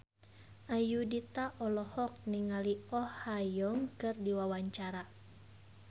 Ayudhita olohok ningali Oh Ha Young keur diwawancara